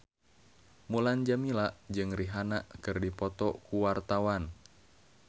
Mulan Jameela jeung Rihanna keur dipoto ku wartawan